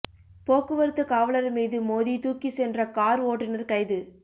போக்குவரத்து காவலா் மீது மோதி தூக்கி சென்ற காா் ஓட்டுநா் கைது